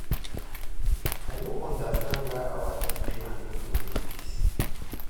I no understand why our two clan no go make peace